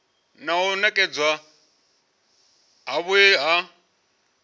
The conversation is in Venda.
na u nekedzwa havhui ha